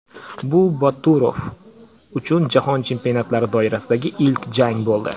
Bu Boturov uchun jahon chempionatlari doirasidagi ilk jang bo‘ldi.